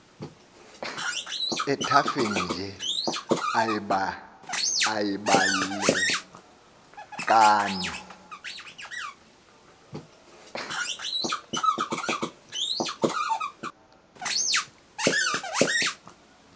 ethafeni nje uyibalekani